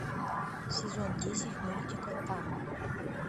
сезон десять мультика там